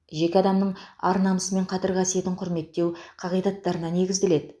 жеке адамның ар намысы мен қадір қасиетін құрметтеу қағидаттарына негізделеді